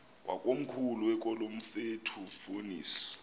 wakomkhulu wakulomfetlho fonis